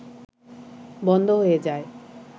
বন্ধ হয়ে যায়